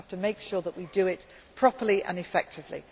have done it by now. We just have to make sure that we do it properly